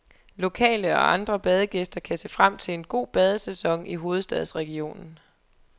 Lokale og andre badegæster kan se frem til en god badesæson i hovedstadsregionen.